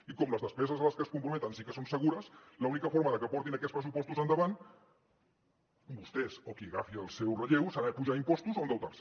i com les despeses a les que es comprometen sí que són segures l’única forma de que portin aquests pressupostos endavant vostès o qui agafi el seu relleu serà apujar impostos o endeutar se